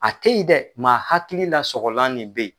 A te yen dɛ ma hakili la sɔgɔlan de be yen.